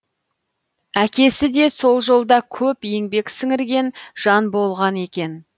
әкесі де сол жолда көп еңбек сіңірген жан болған екен